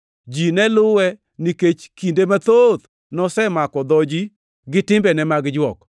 Ji ne luwe nikech kinde mathoth nosemako dho ji gi timbene mag jwok.